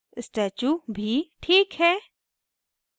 statue भी ठीक है